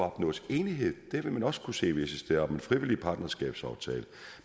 opnås enighed det vil man også kunne se visse steder om en frivillig partnerskabsaftale